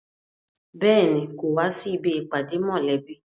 Béèni, kò wá sí ibi ìpàdé mọ̀lẹ́bí